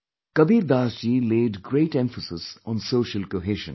Kabir Das ji laid great emphasis on social cohesion